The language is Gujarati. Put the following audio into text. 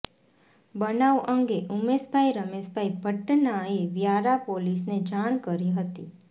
બનાવ અંગે ઉમેશભાઈ રમેશભાઈ ભટ્ટનાએ વ્યારા પોલીસને જાણ કરી હતી